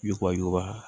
Yubayura